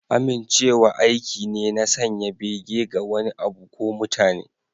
Amincewa aiki ne na sanya bege ga wani abu ko mutane.